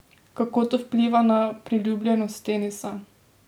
Kako to vpliva na priljubljenost tenisa?